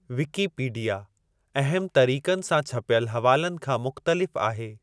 Wikipedia अहमु तरीक़नि सां छपियल हवालनि खां मुख़्तलिफ़ आहे।